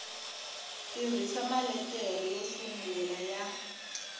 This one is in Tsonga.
tirhisa maletere yo sungula ya